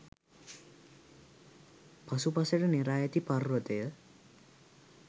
පසුපසට නෙරා ඇති පර්වතය